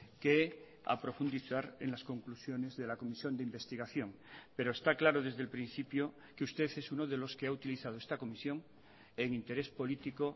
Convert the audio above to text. que a profundizar en las conclusiones de la comisión de investigación pero está claro desde el principio que usted es uno de los que ha utilizado esta comisión en interés político